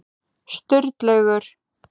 Sturlaugur